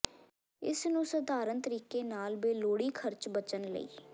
ਇਸ ਨੂੰ ਸਧਾਰਨ ਤਰੀਕੇ ਨਾਲ ਬੇਲੋੜੀ ਖਰਚ ਬਚਣ ਲਈ